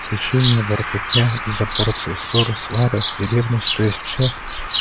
хищения воркотня из-за порции ссоры свары и ревность то есть всё